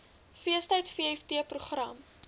feestyd vft program